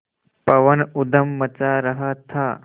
पवन ऊधम मचा रहा था